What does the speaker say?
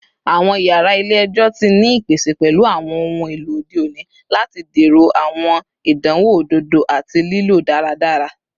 Awọn yara ile-ẹjọ ti ni ipese pẹlu awọn ohun elo ode oni lati dẹrọ awọn idanwo ododo ati lilo daradara